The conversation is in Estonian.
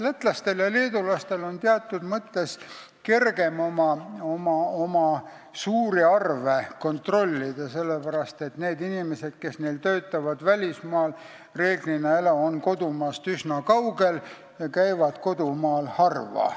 Lätlastel ja leedulastel on teatud mõttes kergem oma suuri arve kontrollida, sellepärast et need inimesed, kes neil välismaal töötavad, on reeglina kodumaast üsna kaugel ja käivad kodumaal harva.